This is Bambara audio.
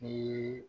Ni